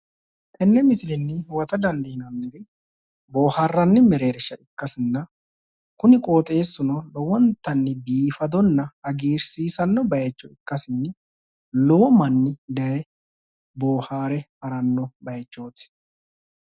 tenne misilenni huwata dandiinanniri boohaarranni mereersha ikkasinna kuni qooxeessuno lowontannni biifadona hagiirsiisanno bayicho ikkasinni lowo manni daye boohaare harannowaati.